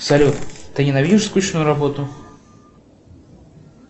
салют ты ненавидишь скучную работу